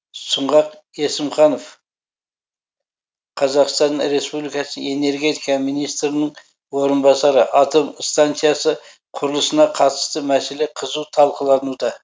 сұңғат есімханов қазақстан республикасы энергетика министрінің орынбасары атом станциясы құрылысына қатысты мәселе қызу талқылануда